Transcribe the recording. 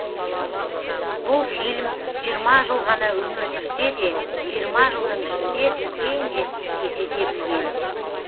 бұл фильм жиырма жыл ғана өмір сүрсе де жиырма жылдың ішінде үлкен жетістікке жете білген